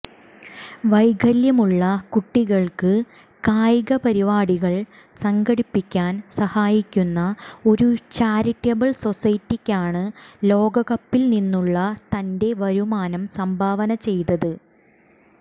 വൈകല്യമുള്ള കുട്ടികൾക്ക് കായിക പരിപാടികൾ സംഘടിപ്പിക്കാൻ സഹായിക്കുന്ന ഒരു ചാരിറ്റബിൾ സൊസൈറ്റിക്കാണ് ലോകകപ്പിൽ നിന്നുള്ള തൻറെ വരുമാനം സംഭാവന ചെയ്തത്